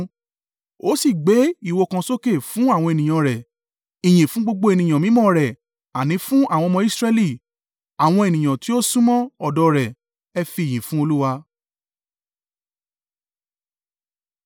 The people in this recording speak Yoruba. Ó sì gbé ìwo kan sókè fún àwọn ènìyàn rẹ̀, ìyìn fún gbogbo ènìyàn mímọ́ rẹ̀ àní fún àwọn ọmọ Israẹli, àwọn ènìyàn tí ó súnmọ́ ọ̀dọ̀ rẹ̀. Ẹ fi ìyìn fún Olúwa.